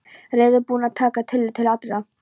Reiðubúinn að taka tillit til allra.